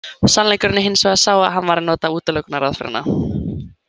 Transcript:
Sannleikurinn er hins vegar sá að hann var að nota útilokunaraðferðina.